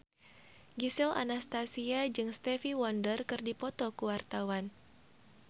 Gisel Anastasia jeung Stevie Wonder keur dipoto ku wartawan